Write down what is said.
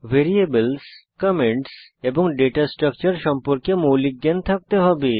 variables comments এবং data structure সম্পর্কে মৌলিক জ্ঞান থাকতে হবে